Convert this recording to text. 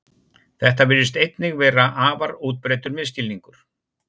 Þetta virðist einnig vera afar útbreiddur misskilningur.